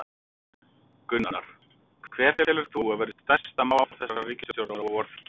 Gunnar: Hvert telur þú að verði stærsta mál þessarar ríkisstjórnar á vorþingi?